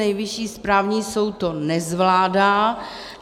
Nejvyšší správní soud to nezvládá.